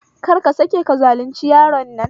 Kar ka sake ka zalunci yaron nan